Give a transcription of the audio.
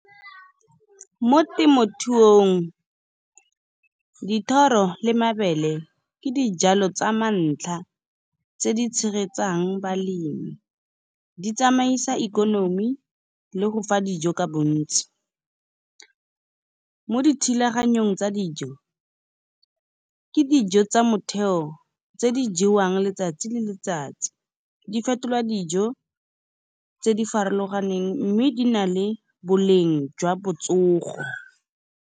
Mo temothuong dithoro le mabele ke dijalo tsa ma ntlha tse di tshegetsang balemi. Di tsamaisa ikonomi le go fa dijo ka bontsi, mo dithulaganyong tsa dijo ke dijo tsa motheo tse di jewang letsatsi le letsatsi. Di fetolwa dijo tse di farologaneng, mme di na le boleng jwa botsogo.